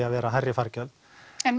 að vera hærri fargjöld en